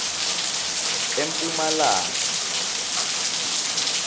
emphumalanga